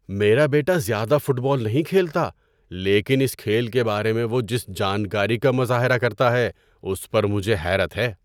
میرا بیٹا زیادہ فٹ بال نہیں کھیلتا لیکن اس کھیل کے بارے میں وہ جس جانکاری کا مظاہرہ کرتا ہے اس پر مجھے حیرت ہے۔